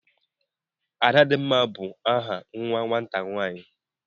Adadimma is a name a girl child.